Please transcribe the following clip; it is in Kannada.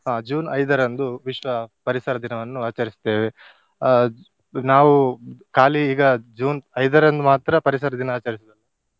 ಆ June ಐದರಂದು ವಿಶ್ವ ಪರಿಸರ ದಿನವನ್ನು ಆಚರಿಸುತ್ತೇವೆ. ಆ ನಾವು ಖಾಲಿ ಈಗ June ಐದರಂದು ಮಾತ್ರ ಪರಿಸರ ದಿನ ಆಚರಿಸುವುದಲ್ಲ.